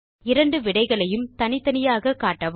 இரண்டு விடைகளையும் தனித்தனியாக காட்டவும்